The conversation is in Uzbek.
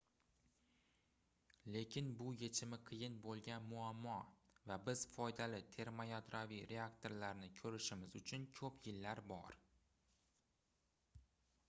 lekin bu yechimi qiyin boʻlgan muammo va biz foydali termoyadroviy reaktorlarni koʻrishimiz uchun koʻp yillar bor